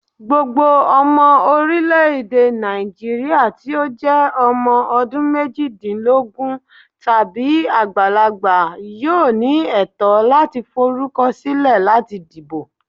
Gbogbo ọmọ orilẹ-ede Naijiria ti o jẹ ọmọ ọdunmejidinlogun tabi agbalagba yoo ni ẹtọ lati forukọsilẹ lati dibo.